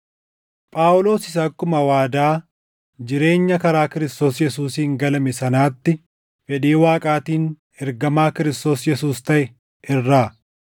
Phaawulos isa akkuma waadaa jireenya karaa Kiristoos Yesuusiin galame sanaatti fedhii Waaqaatiin ergamaa Kiristoos Yesuus taʼe irraa,